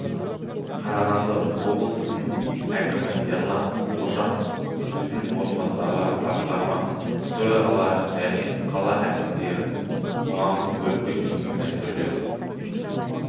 қарағанды облысының әкімі ерлан қошанов өзінің орынбасарларын басқарма төрағаларын және қала әкімдерін қоғамдық көлікпен жүруге мәжбүрледі